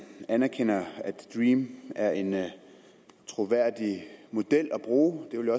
anerkender at dream er en troværdig model at bruge det ville